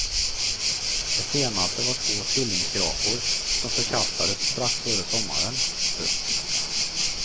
Det senaste var två tvillingskrapor som förkastades strax före sommaren. punkt